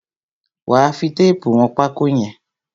Wà á fi téépù wọn pákó yẹn!